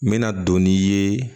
N bɛna don n'i ye